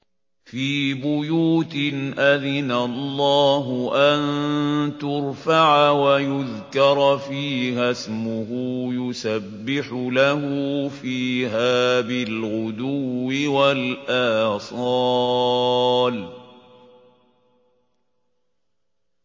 فِي بُيُوتٍ أَذِنَ اللَّهُ أَن تُرْفَعَ وَيُذْكَرَ فِيهَا اسْمُهُ يُسَبِّحُ لَهُ فِيهَا بِالْغُدُوِّ وَالْآصَالِ